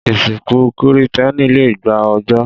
Ìsìnkú Kìrìtẹ́ẹ́nì le gba ọjọ́.